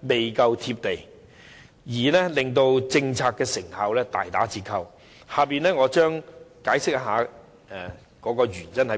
不夠現實，令政策成效大打折扣，以下我將會解釋原因。